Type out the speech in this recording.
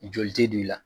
Joli tɛ don i la